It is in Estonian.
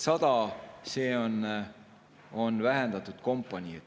100 on vähendatud kompanii.